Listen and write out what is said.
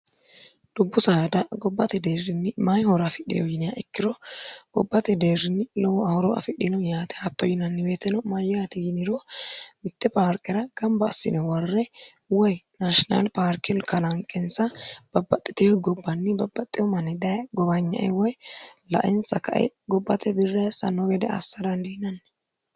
dubbu saada gobbate deerrinni mayihora afidhiho yinia ikkiro gobbate deerrini lowo horo afidhino yaate hatto yinanni weyitino ma yati yiniro mitte paarqira gamba assine warre woy nashinal parkikalanqensa babbaxxiteho gobbanni babbaxxeo manni dhaye gobanyae woy lainsa kae gobbate birrahessanno gede assa dandiinanni